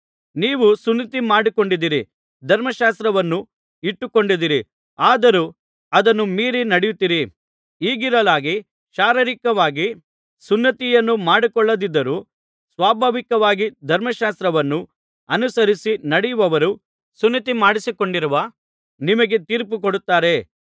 ನೀವು ಸುನ್ನತಿ ಮಾಡಿಸಿಕೊಂಡಿದ್ದಿರಿ ಧರ್ಮಶಾಸ್ತ್ರವನ್ನು ಇಟ್ಟುಕೊಂಡಿದ್ದೀರಿ ಆದರೂ ಅದನ್ನು ಮೀರಿ ನಡೆಯುತ್ತೀರಿ ಹೀಗಿರಲಾಗಿ ಶಾರೀರಿಕವಾಗಿ ಸುನ್ನತಿಯನ್ನು ಮಾಡಿಸಿಕೊಳ್ಳದಿದ್ದರೂ ಸ್ವಾಭಾವಿಕವಾಗಿ ಧರ್ಮಶಾಸ್ತ್ರವನ್ನು ಅನುಸರಿಸಿ ನಡೆಯುವವರು ಸುನ್ನತಿ ಮಾಡಿಸಿಕೊಂಡಿರುವ ನಿಮಗೆ ತೀರ್ಪುಕೊಡುತ್ತಾರೆ